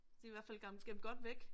De i hvert fald gemt godt væk